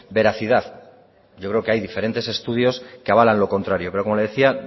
veracidad yo creo que hay diferentes estudios que avalan lo contrario pero como le decía